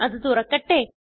അത് തുറക്കട്ടെ